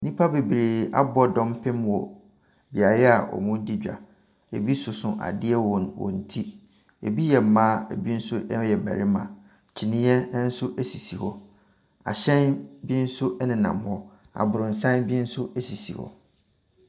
Nnipa bebree abɔ dɔmpem wɔ beaeɛ a wɔredi dwa. Ebi soso adeɛ wɔ wɔn ti. Ebi yɛ mmaa, ebi nso yɛ mmarima. Kyiniiɛ nso sisi hɔ. Ahyɛn bi nso nenam hɔ. Aborosan bi nso sisi hɔ.